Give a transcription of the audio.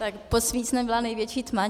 Pod svícnem byla největší tma.